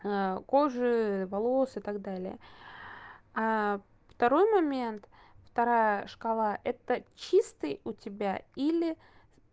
а кожи волос и так далее а второй момент вторая шкала это чистый у тебя или